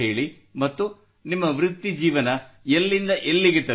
ಮತ್ತು ನಿಮ್ಮ ವೃತ್ತಿಜೀವನ ಎಲ್ಲಿಂದ ಎಲ್ಲಿಗೆ ತಲುಪಿದೆ